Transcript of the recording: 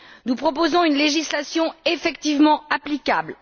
Nous proposons une législation effectivement applicable.